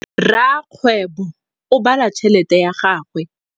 Rakgwêbô o bala tšheletê ya gagwe.